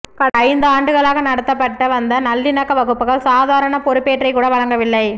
கடந்த ஐந்து ஆண்டுகளாக நடத்தப்பட்டு வந்த நல்லிணக்க வகுப்புகள் சாதாரண பெறுபேற்றைக் கூட வழங்கவில்லை